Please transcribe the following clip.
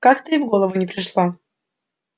как-то и в голову не пришло